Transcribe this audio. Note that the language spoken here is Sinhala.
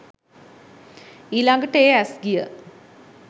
ඊළඟට ඒ ඇස් ගිය